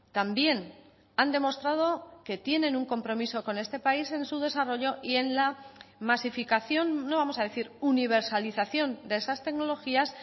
también han demostrado que tienen un compromiso con este país en su desarrollo y en la masificación no vamos a decir universalización de esas tecnologías